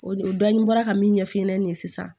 O de o dɔni bɔra ka min ɲɛf'i ɲɛna nin ye sisan